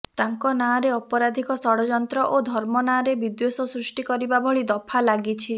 ତାଙ୍କ ନାଁରେ ଅପରାଧିକ ଷଡ଼ଯନ୍ତ୍ର ଓ ଧର୍ମ ନାଁରେ ବିଦ୍ୱେଶ ସୃଷ୍ଟି କରିବା ଭଳି ଦଫା ଲାଗିଛି